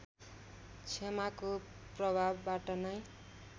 क्षमाको प्रभावबाट नै